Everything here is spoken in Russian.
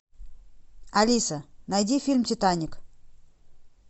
алиса найди фильм титаник